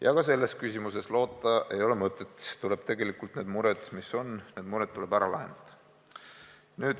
Ja ka selles küsimuses ei ole mõtet loota, tegelikult tuleb need mured, mis on, ära lahendada.